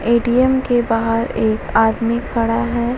ATM. के बाहार एक आदमी खड़ा है।